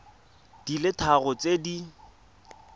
di le tharo tse di